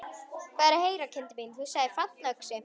Hvað er að heyra, kindin mín, þú sagðir fallöxi.